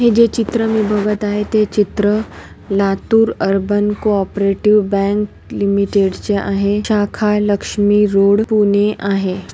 हे जे चित्र मी बघत आहे ते चित्र Latur urban co operative bank limited चे आहे शाखा लक्ष्मी रोड पुणे आहे.